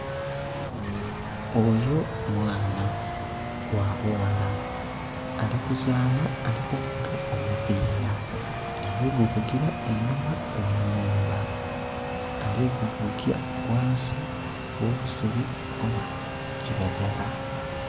Oyo mwaana gha bughala ali kuzaanha ali kuvuga omupira ali guvugira einhuma ghe nhumba ali guvugira ghansi gho obusubi obwa kilagala.